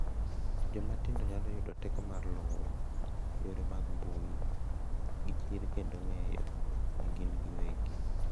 Joma tindo nyalo yudo teko mar luwo yore mag mbui gi chir kendo ng’eyo ni gin giwegi